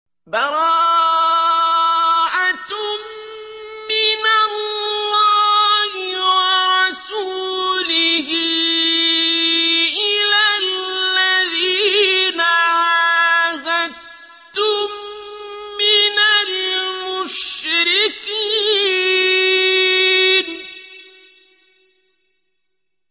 بَرَاءَةٌ مِّنَ اللَّهِ وَرَسُولِهِ إِلَى الَّذِينَ عَاهَدتُّم مِّنَ الْمُشْرِكِينَ